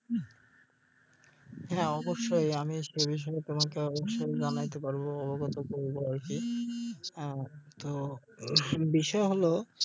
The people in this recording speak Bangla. হ্যাঁ অবশ্যই আমি এই বিষয়ে তোমাকে অবশ্যই জানাইতে পারবো অবগত করবো আর কি হ্যাঁ তো উম বিষয় হল